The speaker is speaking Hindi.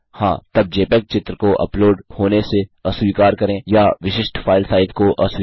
हाँ तब जेपीईजी चित्र को अपलोड होने से अस्वीकार करें या विशिष्ट फाइल साइज़ को अस्वीकार करें